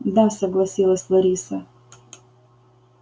да согласилась лариса